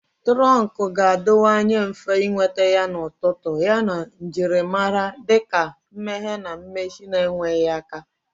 Turonku ga-adịwanye mfe ịnweta yana ọtụtụ, yana njirimara dị ka mmeghe na mmechi na-enweghị aka